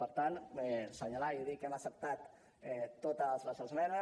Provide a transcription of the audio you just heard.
per tant assenyalar i dir que hem acceptat totes les esmenes